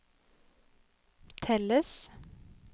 telles